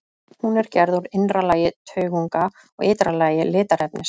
Hún er gerð úr innra lagi taugunga og ytra lagi litarefnis.